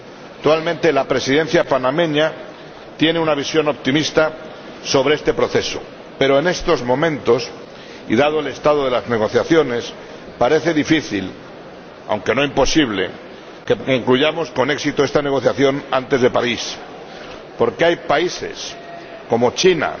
Actualmente, la Presidencia panameña tiene una visión optimista sobre este proceso, pero en estos momentos, y dado el estado de las negociaciones, parece difícil, aunque no imposible, que concluyamos con éxito esta negociación antes de París, porque hay países, como China